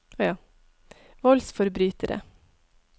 voldsforbrytere